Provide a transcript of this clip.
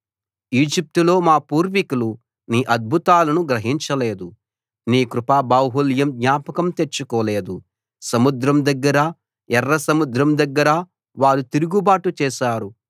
ఈజిప్టులో మా పూర్వీకులు నీ అద్భుతాలను గ్రహించలేదు నీ కృపాబాహుళ్యం జ్ఞాపకం తెచ్చుకోలేదు సముద్రం దగ్గర ఎర్రసముద్రం దగ్గర వారు తిరుగు బాటు చేశారు